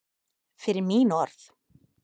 Fyrir mín orð.